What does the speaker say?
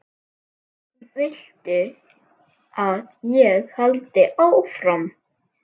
Viltu að ég haldi áfram?